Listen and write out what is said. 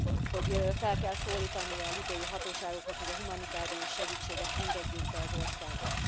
Hogy fel kell szólítani a líbiai hatóságokat, hogy a humanitárius segítséget engedjék be az országba.